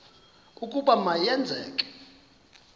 ukuba ma yenzeke